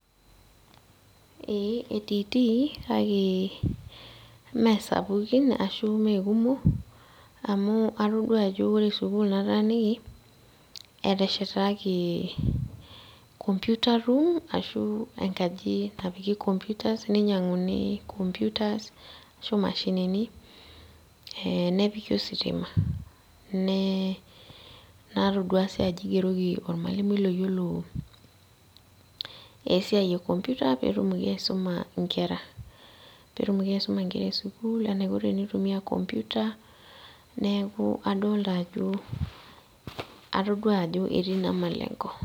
Ee etiitii kake mesapukin ashu mekumok amu atodua ajo ore sukuul nataaniki, eteshetaki computer room ,ashu enkaji napiki computer ninyang'uni computers ashu mashinini, eh nepiki ositima. Natodua si ajo igeroki ormalimui loyiolo esiai e computer petumoki aisuma inkera. Petumoki aisuma inkera esukuul enaiko tenitumia computer ,neeku adolta ajo atodua ajo etii ina malengo.